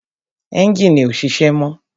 Ẹ́njìnì ọ́ sise mọ́